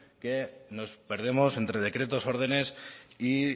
que nos perdemos entre decretos órdenes y